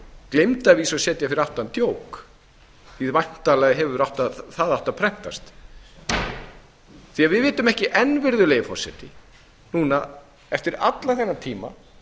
gleymdi að vísu að setja fyrir aftan djók því væntanlega hefur það átt að prentast við vitum ekki enn virðulegi forseti núna eftir allan þennan tíma